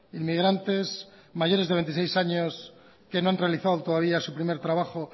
inmigrantes mayores de veintiséis años que no han realizado todavía su primer trabajo